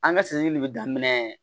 An ka de bɛ daminɛ